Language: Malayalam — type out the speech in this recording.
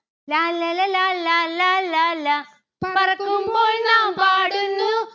ലാല്ലല ലാലാ ലാലാ ലാ. പറക്കുമ്പോൾ നാം പാടുന്നു